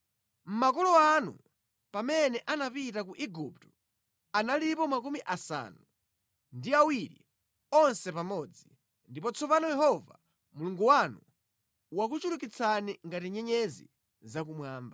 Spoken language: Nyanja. Makolo anu amene anapita ku Igupto analipo makumi asanu ndi awiri onse pamodzi, ndipo tsopano Yehova Mulungu wanu wakuchulukitsani ngati nyenyezi zakumwamba.